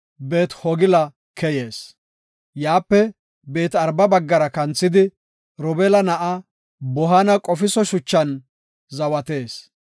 Beet-Hogila keyees. Yaape Beet-Araba baggara kanthidi, Robeela na7aa Bohaana qofiso shuchan zawatees.